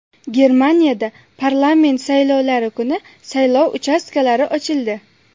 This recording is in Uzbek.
Germaniyada parlament saylovlari kuni saylov uchastkalari ochildi.